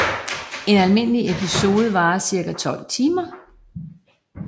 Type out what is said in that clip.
En almindelig episode varer cirka 2 timer